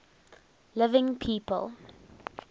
living people